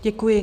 Děkuji.